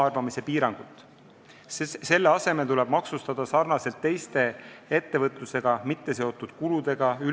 Selle asemel tuleb ülejäävat laenukasutuse kulu maksustada samamoodi nagu teisi ettevõtlusega mitteseotud kulusid.